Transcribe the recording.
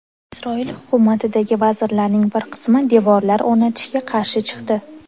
Isroil hukumatidagi vazirlarning bir qismi devorlar o‘rnatishga qarshi chiqdi.